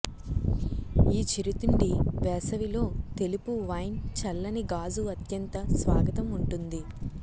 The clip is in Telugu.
ఈ చిరుతిండి వేసవిలో తెలుపు వైన్ చల్లని గాజు అత్యంత స్వాగతం ఉంటుంది